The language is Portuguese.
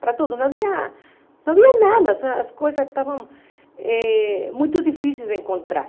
Para tudo, não havia não havia nada, as coisas estavam eh muito difíceis de encontrar.